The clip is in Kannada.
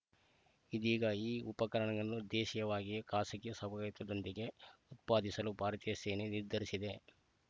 ಇದೀಗ ಈ ಉಪಕರಣಗಳನ್ನು ದೇಶೀಯವಾಗಿಯೇ ಖಾಸಗಿ ಸಹಭಾಗಿತ್ವದೊಂದಿಗೆ ಉತ್ಪಾದಿಸಲು ಭಾರತೀಯ ಸೇನೆ ನಿರ್ಧರಿಸಿದೆ